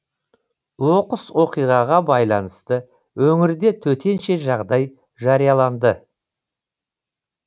оқыс оқиғаға байланысты өңірде төтенше жағдай жарияланды